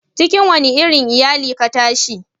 cikin wani irin iyali ka tashi?